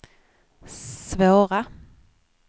svåra